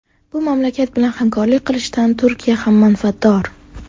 Bu mamlakat bilan hamkorlik qilishdan Turkiya ham manfaatdor.